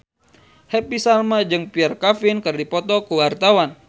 Happy Salma jeung Pierre Coffin keur dipoto ku wartawan